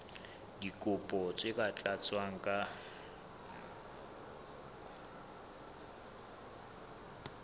dikopo tse sa tlatswang ka